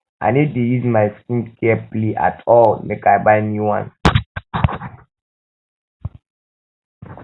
i no dey no dey use my skincare play at all make i buy new ones